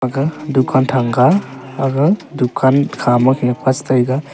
aga than ga aga kha ma khe pas taiga.